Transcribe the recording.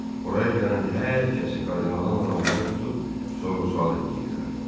Oraya gələn hər kəsi kardinalın adamları tutub sorğu-sual eləyirdilər.